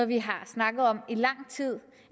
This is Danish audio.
vi har snakket om i lang tid